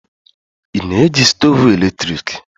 Ị na eji stoovu eletrik?